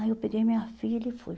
Aí eu peguei minha filha e fui.